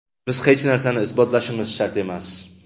Biz hech narsani isbotlashimiz shart emas.